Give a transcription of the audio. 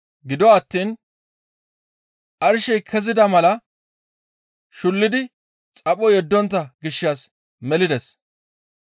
Gido attiin arshey kezida mala shullidi xapho yeddontta gishshas melides.